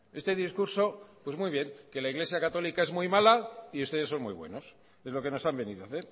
este discurso pues muy bien que la iglesia católica es muy mala y ustedes son muy buenos es lo que nos han venido a